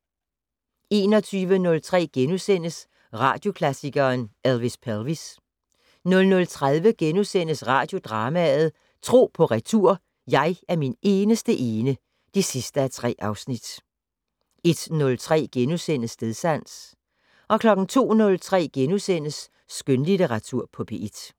21:03: Radioklassikeren: Elvis Pelvis * 00:30: Radiodrama: Tro på retur: Jeg er min eneste ene (3:3)* 01:03: Stedsans * 02:03: Skønlitteratur på P1 *